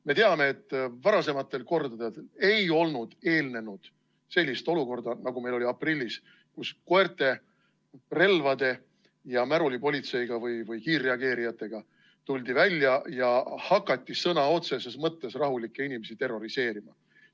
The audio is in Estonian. Me teame, et varasematele kordadele ei olnud eelnenud sellist olukorda, nagu meil oli aprillis, kus koerte, relvade ja märulipolitsei või kiirreageerijatega tuldi välja ja hakati sõna otseses mõttes rahulikke inimesi terroriseerima.